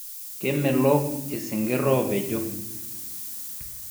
kemelok isinkiri opejo